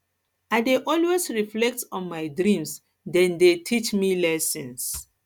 i dey always reflect on my dreams dem dey teach me lessons